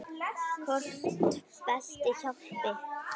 Hvort beltið hjálpi?